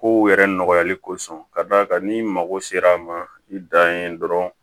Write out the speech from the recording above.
Kow yɛrɛ nɔgɔyali kosɔn ka d'a kan n'i mago sera a ma i dan ye dɔrɔn